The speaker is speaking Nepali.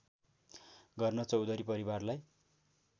गर्न चौधरी परिवारलाई